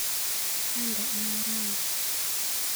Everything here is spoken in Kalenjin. Kande anee rani.